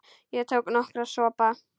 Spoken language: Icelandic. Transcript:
Ég tók nokkra sopa.